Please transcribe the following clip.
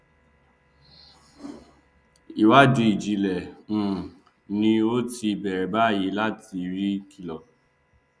ìwádìí ìjìnlẹ um ni ó ti bẹrẹ báyìí láti rí kíló